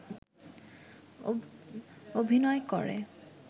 অভিনয় করে